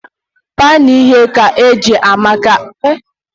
Pan ighe ka ana-eji maka oghighe